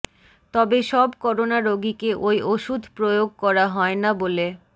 তবে সব করোনা রোগীকে ওই ওষুধ প্রয়োগ করা হয় না বলে